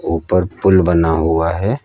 ऊपर पूल बना हुआ है।